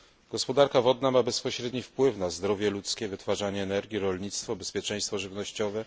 Gospodarka wodna ma bezpośredni wpływ na zdrowie ludzkie, wytwarzanie energii, rolnictwo, bezpieczeństwo żywnościowe.